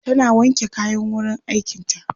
tana wanke kayan wurin aikin ta